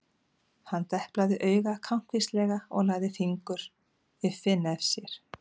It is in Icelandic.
Hann deplaði auga kankvíslega og lagði fingur upp við nef sér.